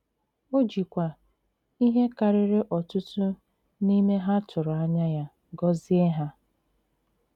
O jìkwa ihé kàrìrì ọ̀tùtù n'ime hà tụrụ ànyà ya gọzie hà.